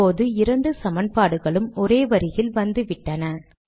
இப்போது இரண்டு சமன்பாடுகளும் ஒரே வரியில் வந்துவிட்டன